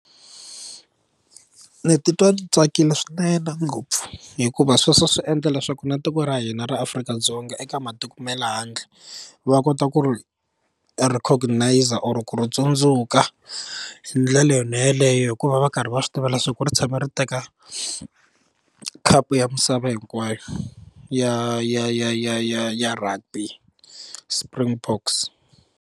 Ni titwa ni tsakile swinene ngopfu hikuva sweswo swi endla leswaku na tiko ra hina ra Afrika-Dzonga eka matiko ma le handle va kota ku ri recognizer or ku ri tsundzuka hi ndlela yona yeleyo hikuva va karhi va swi tiva leswaku ri tshame ri teka khapu ya misava hinkwayo ya ya ya ya ya ya rugby Springboks.